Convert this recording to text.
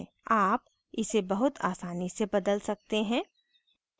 आप इसे बहुत आसानी से बदल सकते हैं